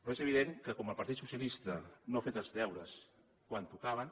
però és evident que com el partit socialista no ha fet els deures quan tocaven